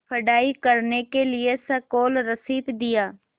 पढ़ाई करने के लिए स्कॉलरशिप दिया